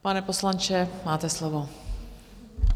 Pane poslanče, máte slovo.